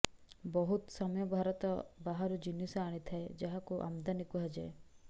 ବାହୁତ ସମୟ ଭାରତ ବାହାରୁ ଜିନିଷ ଆଣିଥାଏ ଯାହାକୁ ଆମଦାନୀ କୁହାଯାଏ